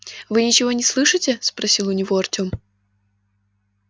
вы ничего не слышите спросил у него артем